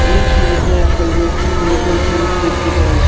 এই ছবিতে একটা ইলেকট্রিক ভেহিকেল শোরুম দেখতে পারছি।